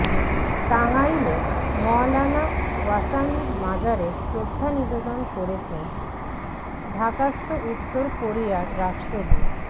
টাঙ্গাইলে মওলানা ভাসানীর মাজারে শ্রদ্ধা নিবেদন করেছেন ঢাকাস্থ উত্তর কোরিয়ার রাষ্ট্রদূত